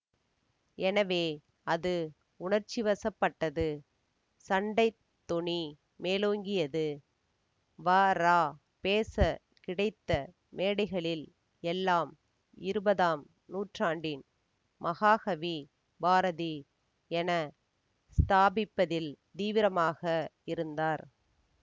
எனவே அது உணர்ச்சிவசப்பட்டது சண்டைத் தொனி மேலோங்கியது வரா பேசக் கிடைத்த மேடைகளில் எல்லாம் இருபதாம் நூற்றாண்டின் மகாகவி பாரதி என ஸ்தாபிப்பதில் தீவிரமாக இருந்தார்